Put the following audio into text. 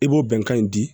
I b'o bɛnkan in di